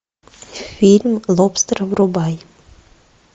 фильм лобстер врубай